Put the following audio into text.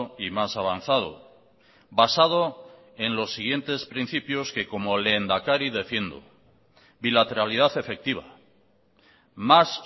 y más avanzado basado en los siguientes principios que como lehendakari defiendo bilateralidad efectiva más